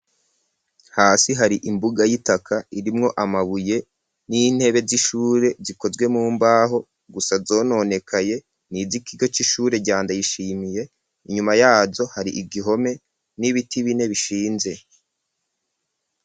Hasi hari imbuga y'itaka irimwo amabuye n'intebe z'ishure zikozwe mumbaho gusa zononekaye nizikigo c'ishure rya Ndayishimiye ,inyuma yaho hari igihome n'ibiti bine bishinze.